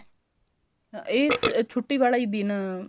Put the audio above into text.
ਇਹ ਛੁੱਟੀ ਵਾਲਾ ਈ ਦਿਨ